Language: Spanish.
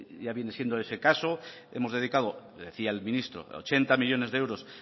ya viene siendo ese caso hemos dedicado decía el ministro ochenta millónes euros